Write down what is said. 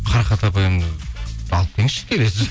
қарақат апайымыз алып келіңізші келесі